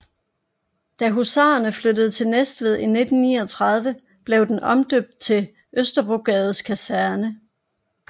Da husarene flyttede til Næstved i 1939 blev den omdøbt til Østerbrogades Kaserne